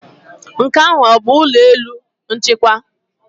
Nke ahụ ọ bụ ụlọ elu nchịkwa?